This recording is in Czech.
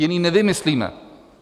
Jiný nevymyslíme.